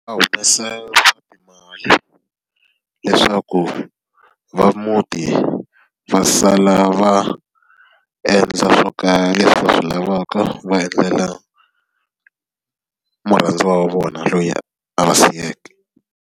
Va humesa swa timali leswaku va muti va sala va endla swo leswi va swi lavaka, va endlela murhandziwa wa vona loyi a va siyeke.